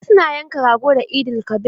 Wasu na yanka rago da Eid-el-kabir.